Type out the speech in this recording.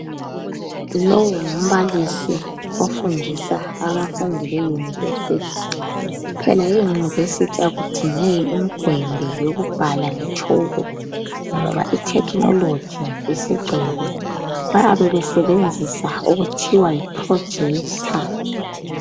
Lo ngumbalisi ofundisa abamfundi bemayunivesithi. Phela eyunivesithi akudingeki imigwembe yokubhala ngetshoko, ngoba ithekhineloji isigcwele. Bayabe basebenzisa okuthiwa yi 'projetor'.